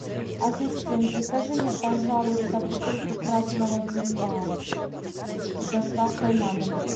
ассистент закажи мне пожалуйста бутылку красного вина с доставкой на дом